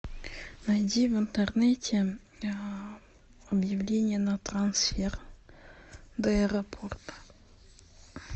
найди в интернете объявление на трансфер до аэропорта